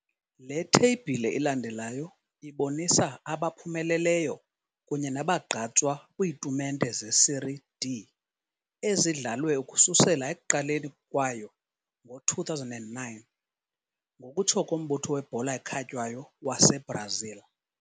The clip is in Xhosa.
Le theyibhile ilandelayo ibonisa abaphumeleleyo kunye nabagqatswa kwiitumente zeSérie D ezidlalwe ukususela ekuqaleni kwayo ngo-2009, ngokutsho koMbutho weBhola ekhatywayo waseBrazil.